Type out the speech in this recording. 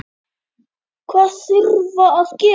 Hvað þarftu að gera?